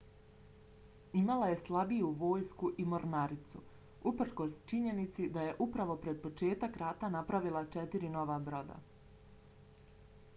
imala je slabiju vojsku i mornaricu uprkos činjenici da je upravo pred početak rata napravila četiri nova broda